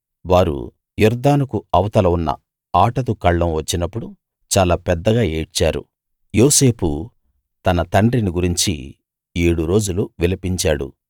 వారు యొర్దానుకు అవతల ఉన్న ఆటదు కళ్ళం వచ్చినపుడు చాలా పెద్దగా ఏడ్చారు యోసేపు తన తండ్రిని గురించి ఏడు రోజులు విలపించాడు